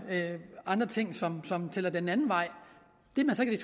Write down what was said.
andre ting som som tæller den anden vej